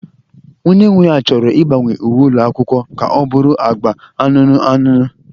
Onye nwe ya chọrọ ịgbanwe uwe ụlọ akwụkwọ ka ọ bụrụ agba anụnụ anụnụ.